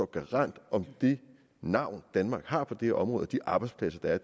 garant for det navn danmark har på det her område de arbejdspladser der er